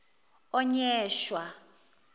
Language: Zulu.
onyesha